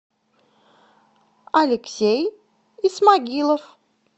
алексей исмагилов